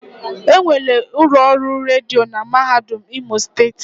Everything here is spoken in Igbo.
Enwere ụlọ ọrụ redio na mahadum imo steeti.